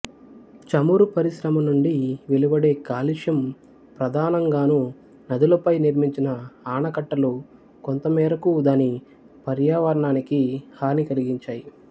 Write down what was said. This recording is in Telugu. చమురు పరిశ్రమ నుండి వెలువడే కాలుష్యం ప్రధానం గాను నదులపై నిర్మించిన ఆనకట్టలు కొంతమేరకూ దాని పర్యావరణానికి హాని కలిగించాయి